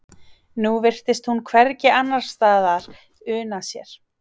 Nú virtist hún hvergi annarsstaðar una sér.